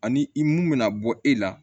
Ani i mun bɛna bɔ e la